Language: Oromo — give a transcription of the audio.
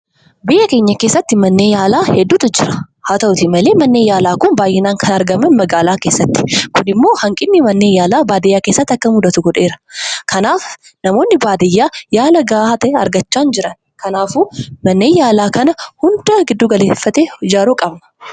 Biyya keenya keessatti manneen yaalaa hedduutu jira. Haa ta'u malee manneen yaalaa kunneen kan argaman magaalaa keessatti . Kunimmoo hanqinni manneen yaalaa baadiyyaa keessatti akka mudatu godheera. Kanaaf namoonni baadiyyaa yaala gaafa ta'e argachaa hin jiran. Kanaafuu manneen yaalaa hunda galeeffate ijaaruu qaba.